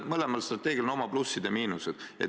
Mõlemal strateegial on oma plussid ja miinused.